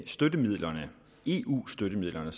støttemidlerne eu støttemidlerne